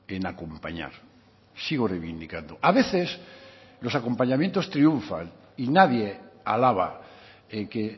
en acompañar sigo reivindicando a veces los acompañamientos triunfan y nadie alaba en que